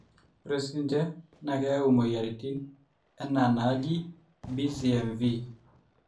ore sinje naa keyau mweyiaritin enaa enaji (BCMV)